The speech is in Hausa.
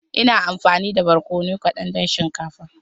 Ina amfani da barkono kadan don shinkafa.